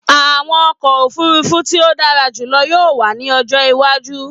Àwọn ọkọ ofurufu ti o dara julọ yoo wa ni ọjọ iwaju.